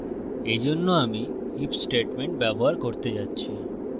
এই জন্য আমি if statement ব্যবহার করতে যাচ্ছি